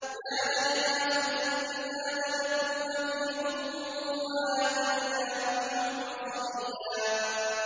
يَا يَحْيَىٰ خُذِ الْكِتَابَ بِقُوَّةٍ ۖ وَآتَيْنَاهُ الْحُكْمَ صَبِيًّا